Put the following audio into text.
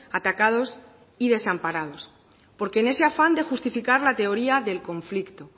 atacados y desamparados porque en ese afán de justificar la teoría del conflicto